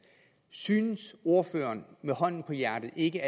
synes ordføreren hånden på hjertet ikke